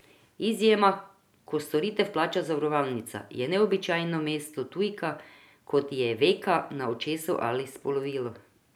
Izjema, ko storitev plača zavarovalnica, je neobičajno mesto tujka, kot je veka na očesu ali spolovilo.